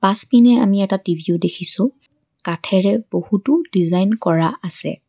পাছপিনে আমি এটা টি_ভি ও দেখিছোঁ কাঠেৰে বহুতো ডিজাইন কৰা আছে।